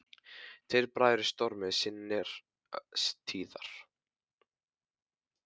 Tveir bræður í stormi sinnar tíðar.